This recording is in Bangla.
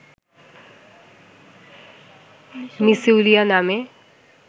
মিসোউলিয়া নামে